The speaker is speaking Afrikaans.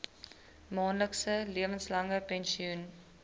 maandelikse lewenslange pensioen